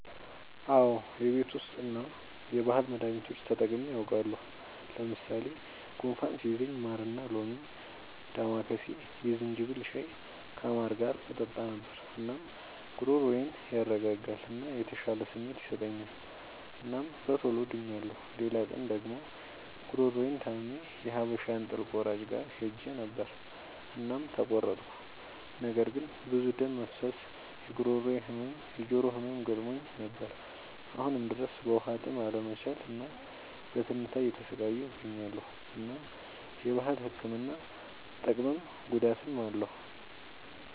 አዎ የቤት ዉስጥ እና የባህል መዳኒቶች ተጠቅሜ አዉቃለሁ። ለምሳሌ፦ ጉንፋን ሲይዘኝ ማርና ሎሚ፣ ዳማከሴ፣ የዝንጅብል ሻይ ከማር ጋር እጠጣ ነበር። እናም ጉሮሮዬን ያረጋጋል እና የተሻለ ስሜት ይሰጠኛል እናም በቶሎ ድኛለሁ። ሌላ ቀን ደግሞ ጉሮሮየን ታምሜ የሀበሻ እንጥል ቆራጭ ጋር ሄጀ ነበር እናም ተቆረጥኩ። ነገር ግን ብዙ ደም መፍሰስ፣ የጉሮሮ ህመም፣ የጆሮ ህመም ገጥሞኝ ነበር። አሁንም ድረስ በዉሀጥም አለመቻል እና በትንታ እየተሰቃየሁ እገኛለሁ። እናም የባህል ህክምና ጥቅምም ጉዳትም አለዉ።